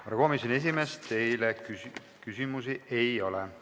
Härra komisjoni esimees, teile küsimusi ei ole.